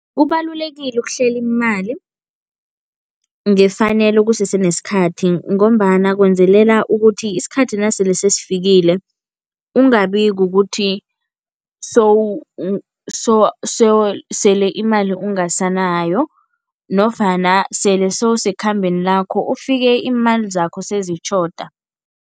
Kubalulekile ukuhlela imali ngefanelo kusese nesikhathi ngombana kwenzelela ukuthi isikhathi nasele sesifikile, ungabi kukuthi sele imali ungasanayo nofana sele sewusekhambeni lakho, ufike iimali zakho sezitjhoda.